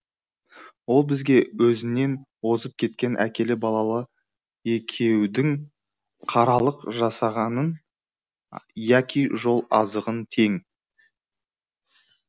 ол бізге өзінен озып кеткен әкелі балалы екеудің қаралық жасағанын яки жол азығын тең